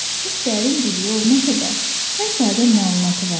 Çox dərin biliyi olmasa da, hər sahədə məlumatı vardı.